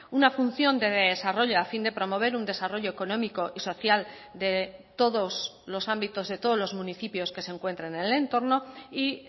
una función de desarrollo a fin de promover un desarrollo económico y social de todos los ámbitos de todos los municipios que se encuentran en el entorno y